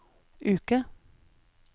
uke